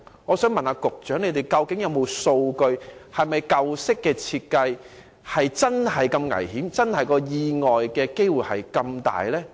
我想問局長，究竟有否數據顯示，舊式較危險設計的遊樂設施釀成意外的機會真的較大？